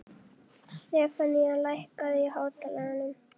Stefanía, lækkaðu í hátalaranum.